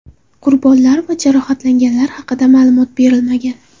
Qurbonlar va jarohatlanganlar haqida ma’lumot berilmagan.